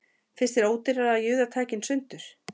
Finnst þér ódýrara að juða tækin sundur